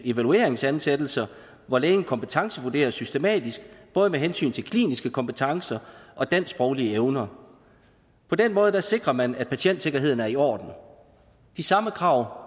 evalueringsansættelser hvor lægen kompetencevurderes systematisk både med hensyn til kliniske kompetencer og dansksproglige evner på den måde sikrer man at patientsikkerheden er i orden de samme krav